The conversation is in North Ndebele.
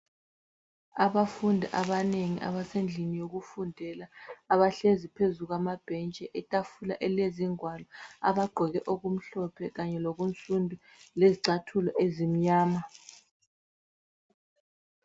Abafundi abanengi abasendlini yokufundela abahlezi phezu kwamabhentshi. Itafula elilezingwalo abagqoke okumhlophe kanye lokunsundu lezicathulo ezimnyama.